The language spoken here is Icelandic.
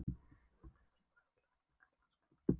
Pabbi var eitthvað fúll þegar amma kallaði hann Skalla-Grím.